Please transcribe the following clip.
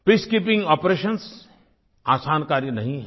peacekeeping operations आसान कार्य नहीं हैं